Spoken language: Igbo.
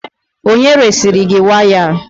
Onye resiri gị waya a?